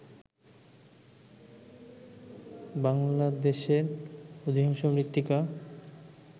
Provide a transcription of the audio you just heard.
বাংলাদেশের অধিকাংশ মৃত্তিকা